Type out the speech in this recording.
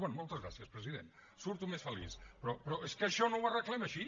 bé moltes gràcies president surto més feliç però és que això no ho arreglem així